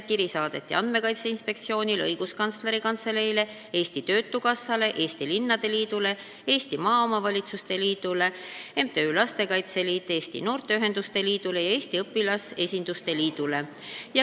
Kiri saadeti Andmekaitse Inspektsioonile, Õiguskantsleri Kantseleile, Eesti Töötukassale, Eesti Linnade Liidule, Eesti Maaomavalitsuste Liidule, MTÜ-le Lastekaitse Liit, Eesti Noorteühenduste Liidule ja Eesti Õpilasesinduste Liidule.